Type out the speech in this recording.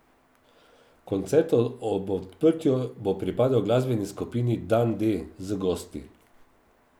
Koncert ob odprtju bo pripadel glasbeni skupini Dan D z gosti.